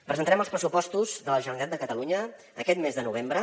presentarem els pressupostos de la generalitat de catalunya aquest mes de novembre